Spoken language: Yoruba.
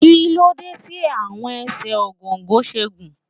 Kíló dé tí àwọn ẹsẹ̀ Ògòǹgò ṣe gùn?